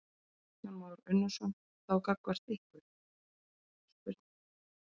Kristján Már Unnarsson: Þá gagnvart ykkur?